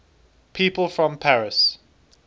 people from paris